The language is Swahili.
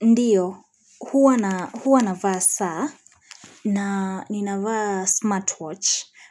Ndiyo, huwa navaa saa na ninaavaa smartwatch